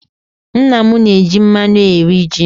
Nna m na-eji mmanụ eri ji.